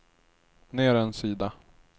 ner en sida